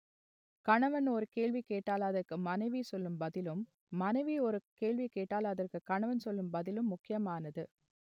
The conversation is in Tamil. கணவன் ஒரு கேள்வி கேட்டால் அதற்கு மனைவி சொல்லும் பதிலும் மனைவி ஒரு கேள்வி கேட்டால் அதற்கு கணவன் சொல்லும் பதிலும் முக்கியமானது